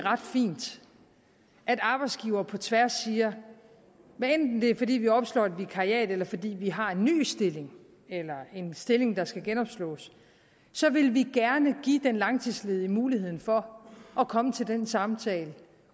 fint at arbejdsgivere på tværs siger hvad enten det er fordi vi opslår et vikariat eller fordi vi har en ny stilling eller en stilling der skal genopslås så vil vi gerne give den langtidsledige muligheden for at komme til den samtale